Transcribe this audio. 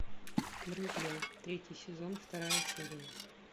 друзья третий сезон вторая серия